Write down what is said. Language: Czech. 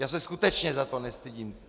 Já se skutečně za to nestydím.